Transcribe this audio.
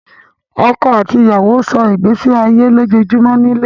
Ọkọ̀ àti ìyàwó sọ́ ìgbésí ayé ojoojúmọ́ nílé